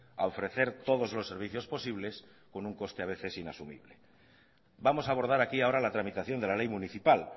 a ofrecer todos los servicios posibles con un coste a veces inasumible vamos a abordar aquí ahora la tramitación de la ley municipal